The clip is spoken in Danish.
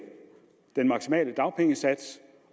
den maksimale dagpengesats